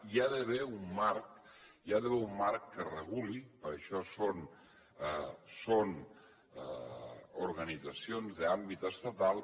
hi ha d’haver un marc hi ha d’haver un marc que ho reguli per això són organitzacions d’àmbit estatal